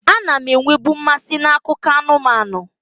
A na m enwebu mmasị n'akụkọ anụmanụ.